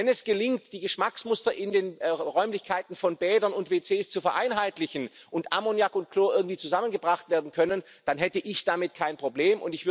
Wenn es gelingt, die Geschmacksmuster in den Räumlichkeiten von Bädern und WCs zu vereinheitlichen und Ammoniak und Chlor irgendwie zusammengebracht werden können, dann hätte ich damit kein Problem.